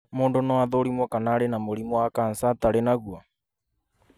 mũndũ nũũ athũrimwo kana ari na mũrimũ wa kansa atarĩ na guo.